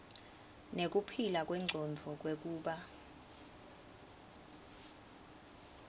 nekuphila kwengcondvo kwekuba